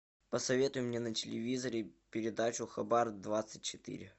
посоветуй мне на телевизоре передачу хабар двадцать четыре